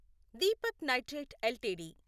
Deepak nitrite LTD